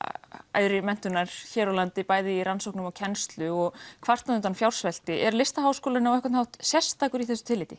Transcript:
æðri menntunar hér á landi bæði í rannsóknum og kennslu og kvartað undan fjársvelti er Listaháskólinn á einhvern hátt sérstakur í þessu tilliti